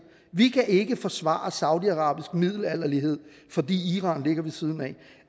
vi kan ikke forsvare saudiarabisk middelalderlighed fordi iran ligger ved siden